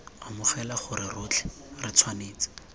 amogela gore rotlhe re tshwanetse